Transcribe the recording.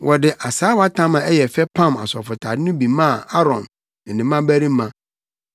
Wɔde asaawatam a ɛyɛ fɛ pam asɔfotade no bi maa Aaron ne ne mmabarima.